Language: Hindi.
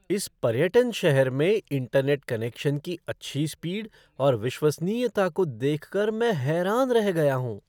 इस पर्यटन शहर में इंटरनेट कनेक्शन की अच्छी स्पीड और विश्वसनीयता को देख कर मैं हैरान रह गया हूँ।